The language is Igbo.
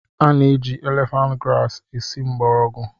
A na-eji elefant grasi esi mgbọrọgwụ